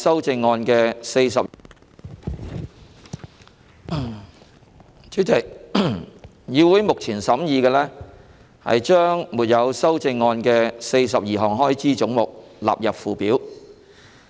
主席，議會目前審議將沒有修正案的42項開支總目的款額納入附表。